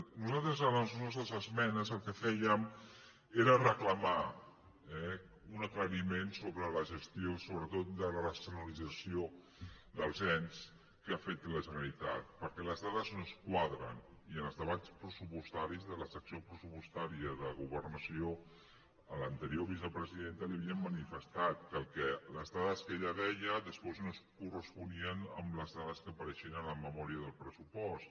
nosaltres amb les nostres esmenes el que fèiem era reclamar eh un aclariment sobre la ges·tió sobretot de la racionalització dels ens que ha fet la generalitat perquè les dades no ens quadren i en els debats pressupostaris de la secció pressupostària de governació a l’anterior vicepresidenta li havíem manifestat que les dades que ella deia després no es corresponien amb les dades que apareixien en la me·mòria del pressupost